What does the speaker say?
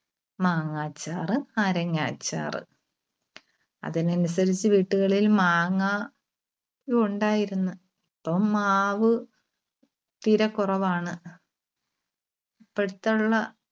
മാങ്ങാച്ചാർ, നാരങ്ങാച്ചർ. അതിന് അനുസരിച്ച് വീട്ടുകളിൽ മാങ്ങ ഉണ്ടായിരുന്നു. ഇപ്പോ മാവ് തീരെ കുറവാണ്. ഇപ്പഴത്തുള്ള